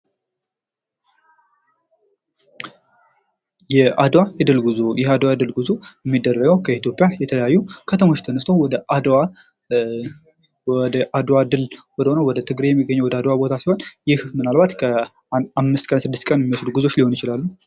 የአድዋ የድል ጉዞ ይህ የአድዋ የድል ጉዞ የሚደረገው ከኢትዮጵያ የተለያዩ ከተሞች ተነስተው ወደ አድዋ ወደ አድዋ ድል ወደ ወደ ትግራይ የሚገኘው ወደ አድዋ ቦታ ሲሆን ፤ይህ ምናልባት ከ 5 እስከ 6 ቀን የሚወስዱ ጉዞዎች ሊሆኑ ይችላሉ።